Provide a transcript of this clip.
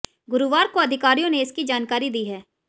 गुरुवार को अधिकारियों ने इसकी जानकारी दी है